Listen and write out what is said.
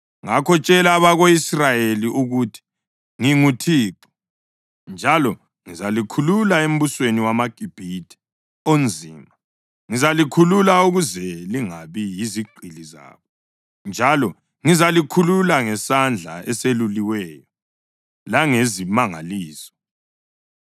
Ngakho tshela abako-Israyeli ukuthi nginguThixo, njalo ngizalikhulula embusweni wamaGibhithe onzima, ngizalikhulula ukuze lingabi yizigqili zabo, njalo ngizalikhulula ngesandla eseluliweyo langezimangaliso.